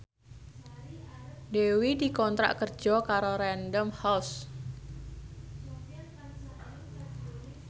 Dewi dikontrak kerja karo Random House